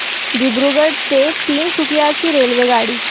दिब्रुगढ ते तिनसुकिया ची रेल्वेगाडी